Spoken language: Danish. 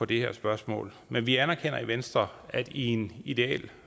det her spørgsmål men vi anerkender i venstre at det i en ideel